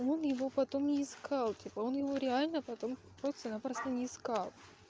он его потом не искал типа он его реально потом просто-напросто не искал